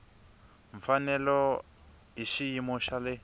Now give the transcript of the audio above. mfanelo hi xiyimo xa le